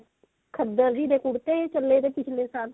ਖੱਦਰ ਜੀ ਦੇ ਕੁੜਤੇ ਵੀ ਚੱਲੇ ਸੀ ਪਿੱਛਲੇ ਸਾਲ